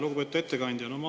Lugupeetud ettekandja!